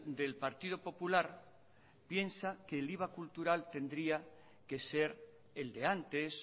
del partido popular piensa que el iva cultural tendría que ser el de antes